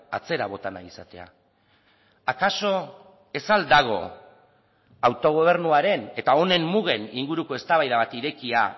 atzera bota nahi izatea akaso ez al dago autogobernuaren eta honen mugen inguruko eztabaida bat irekia